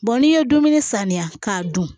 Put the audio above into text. n'i ye dumuni saniya k'a dun